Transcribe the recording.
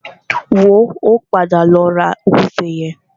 Wò ó, a padà lọ ra ògúnfe yẹn.